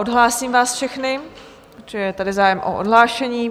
Odhlásím vás všechny, protože je tady zájem o odhlášení.